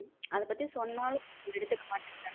அதை பத்தி சொன்னாலும் எடுத்துக்க மாடிங்கிரங்க.